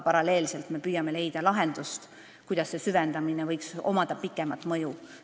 Paralleelselt püüame aga leida lahendust, kuidas võiks süvendamisel olla pikem mõju.